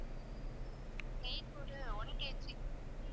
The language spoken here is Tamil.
cake ஒரு one KG